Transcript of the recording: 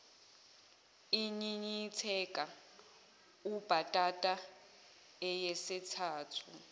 inyinyitheka ubhatata eyesithathu